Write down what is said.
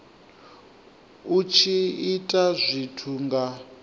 u tshi ita zwithu nga